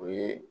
O ye